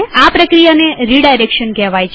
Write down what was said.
આ પ્રક્રિયાને રીડાયરેક્શન કહેવાય છે